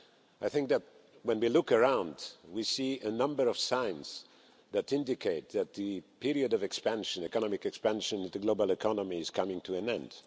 I think that when we look around, we see a number of signs that indicate that the period of economic expansion of the global economy is coming to an end.